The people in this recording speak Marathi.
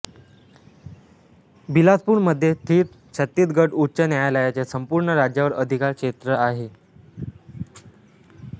बिलासपूर मध्ये स्थित छत्तीसगड उच्च न्यायालयाचे संपूर्ण राज्यावर अधिकार क्षेत्र आहे